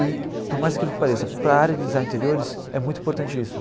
E, por mais incrível que pareça, para a área de design de interiores é muito importante isso.